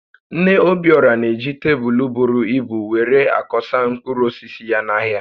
Nne Obiora na-eji tebụl buru ibu were akoọsa mkpụrụ osisi ya n’ahịa